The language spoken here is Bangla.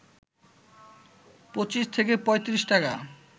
২৫ থেকে ৩৫ টাকা